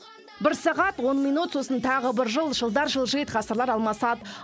бір сағат он минут сосын тағы бір жыл жылдар жылжиды ғасырлар алмасады